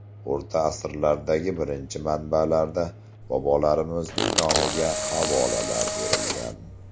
O‘rta asrlardagi birinchi manbalarda bobolarimizning nomiga havolalar berilgan.